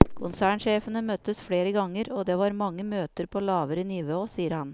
Konsernsjefene møttes flere ganger og det var mange møter på lavere nivå, sier han.